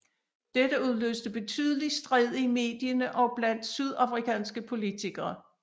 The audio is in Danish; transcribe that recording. Dette udløste betydelig strid i mediene og blandt sydafrikanske politikere